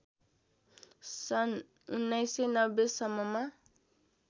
सन् १९९० सम्ममा